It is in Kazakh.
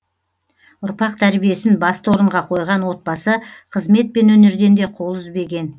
ұрпақ тәрбиесін басты орынға қойған отбасы қызмет пен өнерден де қол үзбеген